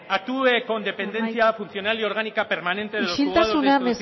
actúe con dependencia funcional y orgánica permanente de los juzgados de instrucción